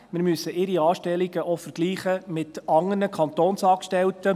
Wir müssen ihre Anstellungen auch vergleichen mit anderen Kantonsangestellten.